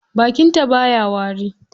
Bakin ta baya wari.